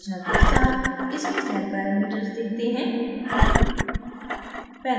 संरचना के साथ इसके cell parameters दिखते हैं